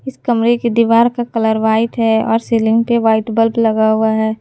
इस कमरे की दीवार का कलर व्हाइट है और सीलिंग पे वाइट बल्ब लगा हुआ है।